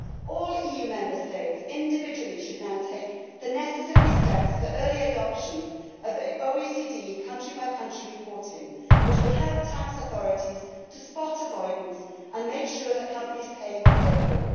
All Member States individually should now take the necessary steps for early adoption of the OECD country by country reporting, which will help tax authorities to spot avoidance and make sure that companies pay what they owe.